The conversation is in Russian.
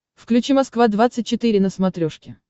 включи москва двадцать четыре на смотрешке